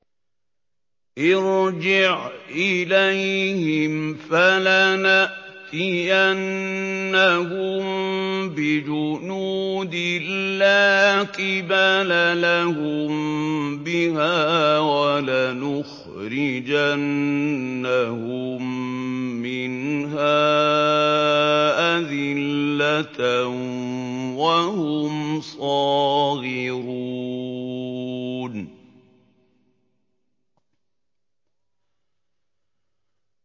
ارْجِعْ إِلَيْهِمْ فَلَنَأْتِيَنَّهُم بِجُنُودٍ لَّا قِبَلَ لَهُم بِهَا وَلَنُخْرِجَنَّهُم مِّنْهَا أَذِلَّةً وَهُمْ صَاغِرُونَ